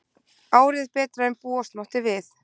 Árið betra en búast mátti við